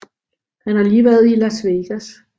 Han har lige været i Las Vegas